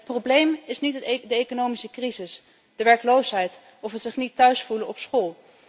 Het probleem is niet de economische crisis, de werkloosheid of het zich niet thuis voelen op school.